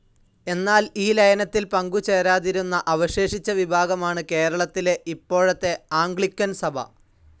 എന്നാൽ ഈ ലയനത്തിൽ പങ്കു ചേരാതിരുന്ന അവശേഷിച്ച വിഭാഗമാണ് കേരളത്തിലെ ഇപ്പോഴത്തെ ആംഗ്ലിക്കൻ സഭ.